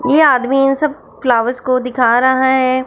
ये आदमी इन सब फ्लावर्स को दिखा रहा हैं।